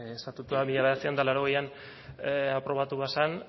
ere estatutoa mila bederatziehun eta laurogeian aprobatu bazen